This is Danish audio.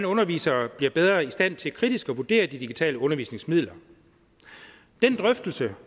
undervisere bliver bedre i stand til kritisk at vurdere de digitale undervisningsmidler den drøftelser